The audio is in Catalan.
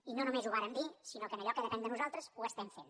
i no només ho vàrem dir sinó que en allò que depèn de nosaltres ho estem fent